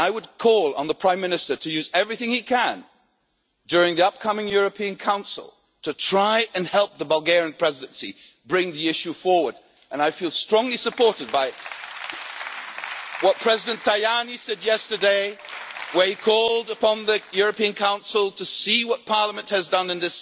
And I would call on the Prime Minister to use everything he can during the upcoming European Council to try and help the Bulgarian Presidency bring the issue forward. I feel strongly supported by what President Tajani said yesterday when he called upon the European Council to see what Parliament has done